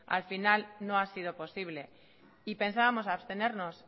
al final no ha sido posible y pensábamos abstenernos